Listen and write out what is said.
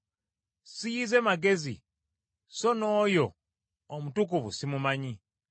Siyize magezi, so n’oyo Omutukuvu simumanyi.